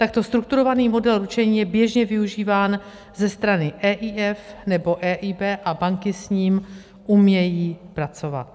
Takto strukturovaný model ručení je běžně využíván ze strany EIF nebo EIB a banky s ním umějí pracovat.